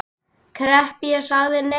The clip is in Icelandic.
Klepp en ég sagði nei.